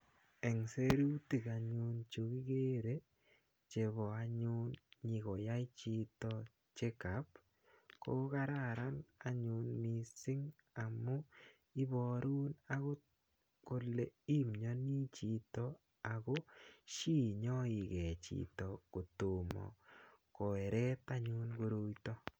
Eng serutik anyun chukikere chebo anyun nyikoyai chito check up ko kararan anyun mising amun iborun akot kole imioni chito ako shi inyoike chito kotomo koeret anyun koroito.